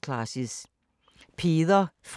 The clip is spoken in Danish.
DR P2